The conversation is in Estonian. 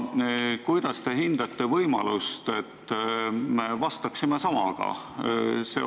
Ja kuidas te hindate võimalust, et vastaksime samaga?